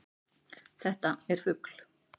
Þetta er fugl.